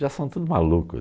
Já são tudo maluco.